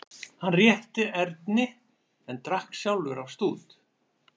Hann rétti Erni en drakk sjálfur af stút.